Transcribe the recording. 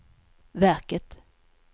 verket